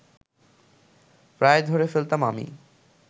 প্রায় ধরে ফেলতাম আমি